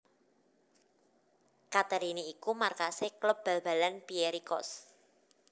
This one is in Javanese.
Katerini iku markasé klub bal balan Pierikos